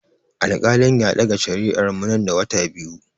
Alkali ya ɗaga shari'ar mu nan da wata biyu.